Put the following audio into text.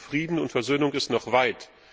Der Weg zu Frieden und Versöhnung ist noch weit.